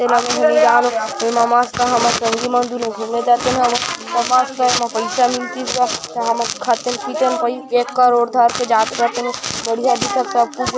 ए मा मस्त हमर संगी मन दुनु घुमे जातेन हमन अउ मस्त एमा पइसा मिलतिस हमन खातेन -पितेन पहिर एक करोड़ धर के जात रतेन बढ़िया दिखत सब कुछ।